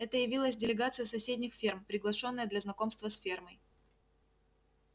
это явилась делегация с соседних ферм приглашённая для знакомства с фермой